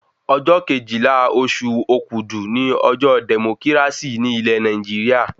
Ọjọ́ Kejìlá oṣù òkudù ni ọjọ́ dẹ̀mókírásì ní ilẹ̀ Nàìjíríà